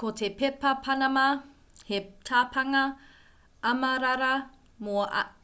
ko te pepa panama he tapanga amarara